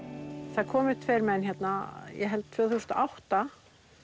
það komu tveir menn hérna ég held tvö þúsund og átta